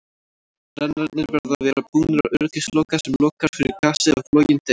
Brennararnir verða að vera búnir öryggisloka sem lokar fyrir gasið ef loginn deyr.